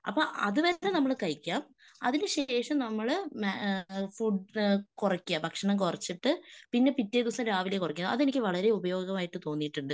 അപ്പൊ അതുവരെ നമ്മള് കഴിക്കാം. അതിനുശേഷം നമ്മള് ഏഹ് ഫുഡ് കുറക്കുക. ഭക്ഷണം കുറിച്ചിട്ട് പിന്നെ പിറ്റേദിവസം രാവിലെ കുറക്കണം. അതെനിക്ക് വളരെ ഉപയോഗമായിട്ട് തോന്നിയിട്ടുണ്ട്.